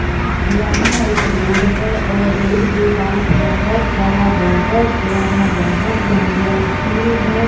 यहाँ एक रोड है और रोड के पास बहोत बड़ा बहोत पुराना बहोत गंदा स्कूल है।